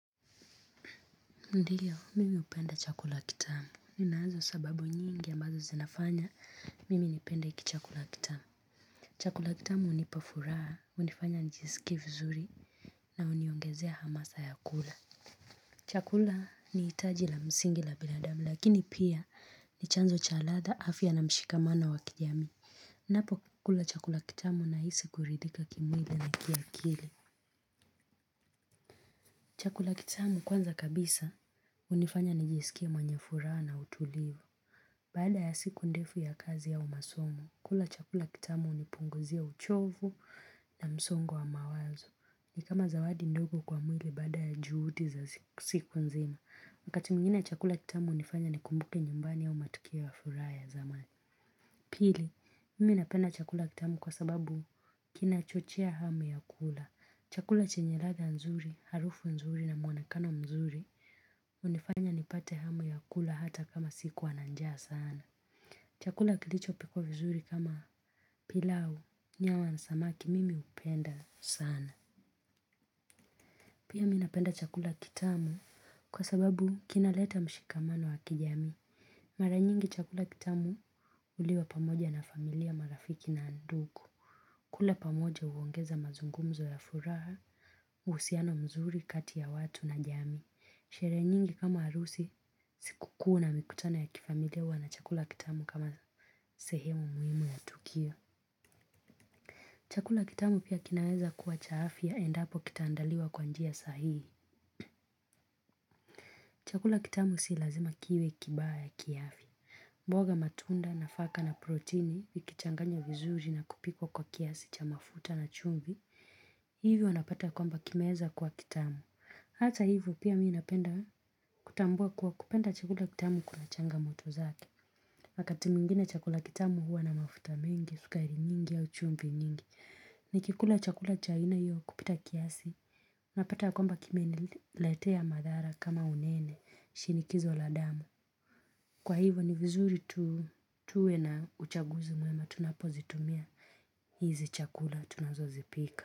Ndiyo, mimi napenda chakula kitamu. Ninazo sababu nyingi ambazo zinafanya, mimi nipenda iki chakula kitamu. Chakula kitamu unipa furaha, hunifanya nijisikie vizuri na uniongezea hamasa ya kula. Chakula ni hitaji la msingi la biladamu, lakini pia ni chanzo cha ladha afya na mshikamano wa kijami. Napokula chakula kitamu na hisi kuridhika kimwili na ki akili. Chakula kitamu kwanza kabisa hunifanya nijisikie mwenye furaha na utulivu. Baada ya siku ndefu ya kazi au masomo, kula chakula kitamu unipunguzia uchovu na msongo wa mawazo. Ni kama zawadi ndogo kwa mwili baada ya juhudi za siku nzima. Wakati mwingine chakula kitamu hunifanya ni kumbuke nyumbani au matokoe ya furaha ya zamani. Pili, mimi napenda chakula kitamu kwa sababu kina chochea hamu ya kula. Chakula chenye ladha nzuri, harufu nzuri na muanakano mzuri. Hunifanya nipate hamu ya kula hata kama sikua nanjaa sana. Chakula kilicho pikwa vizuri kama pilau, nyama nasamaki mimi hupenda sana. Pia mimi napenda chakula kitamu kwa sababu kinaleta mshikamano wa kijami. Mara nyingi chakula kitamu huliwa pamoja na familia marafiki na ndugu. Kula pamoja huongeza mazungumzo ya furaha, husiano mzuri, kati ya watu na jami. Sherehe nyingi kama harusi, siku kuu na mikutano ya kifamilia huwa na chakula kitamu kama sehemu muhimu ya tukio. Chakula kitamu pia kinaweza kuwa cha afya endapo kitaandaliwa kwa njia sahihi. Chakula kitamu si lazima kiwe kibaya ya ki afya. Mboga matunda nafaka na protini, ukichanganya vizuji na kupika kwa kiasi cha mafuta na chumvi. Hivyo napata kwamba kimeweza kuwa kitamu. Hata hivyo pia mimi napenda kutambua kuwa kupenda chakula kitamu kuna changamoto zake. Wakati mwingine chakula kitamu huwa na mafuta mingi, sukari nyingi au chumvi nyingi. Nikikula chakula cha aina hiyo kupita kiasi, napata kwamba kimeniletea madhara kama unene, shinikizo la damu. Kwa hivyo ni vizuri tuwe na uchaguzi mwema, tunapozitumia hizi chakula tunazo zipika.